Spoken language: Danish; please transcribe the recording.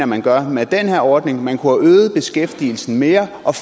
man gør med den her ordning man kunne have øget beskæftigelsen mere og